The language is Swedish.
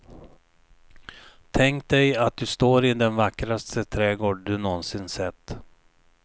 Tänk dig att du står i den vackraste trädgård du någonsin sett.